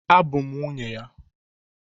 Abụ m nwunye ya